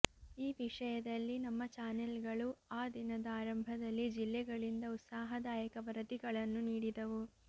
ಈ ವಿಷಯದಲ್ಲಿ ನಮ್ಮ ಚಾನೆಲ್ಗಳು ಆ ದಿನದ ಆರಂಭದಲ್ಲಿ ಜಿಲ್ಲೆಗಳಿಂದ ಉತ್ಸಾಹದಾಯಕ ವರದಿಗಳನ್ನು ನೀಡಿದವು